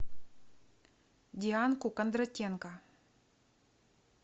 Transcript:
дианку кондратенко